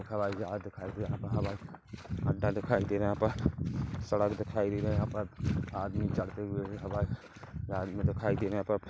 हवाई जहाज दिखाई दे रहा है हवाई अड्डा दिखाई दे रहा है यहाँ पर सड़क दिखाई दे रहा है यहाँ पर आदमी चढ़ते हुए हवाई जहाज मे दिखाई दे रहे है; यहाँ पर--